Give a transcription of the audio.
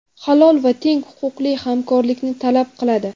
halol va teng huquqli hamkorlikni talab qiladi.